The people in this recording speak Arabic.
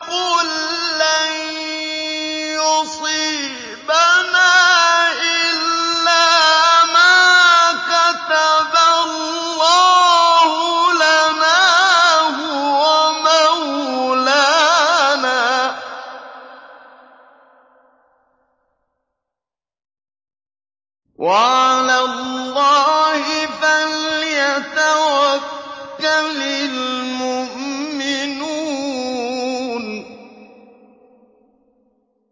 قُل لَّن يُصِيبَنَا إِلَّا مَا كَتَبَ اللَّهُ لَنَا هُوَ مَوْلَانَا ۚ وَعَلَى اللَّهِ فَلْيَتَوَكَّلِ الْمُؤْمِنُونَ